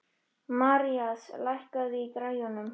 Marías, lækkaðu í græjunum.